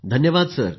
धन्यवाद सर